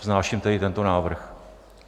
Vznáším tedy tento návrh.